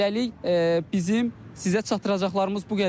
Hələlik bizim sizə çatdıracaqlarımız bu qədər.